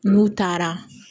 N'u taara